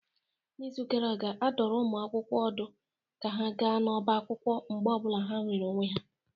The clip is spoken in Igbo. N'izu gara aga, a dụrụ ụmụ akwụkwọ ọdụ ka ha gaa n'ọbá akwụkwọ mgbe ọ bụla ha nwere onwe ha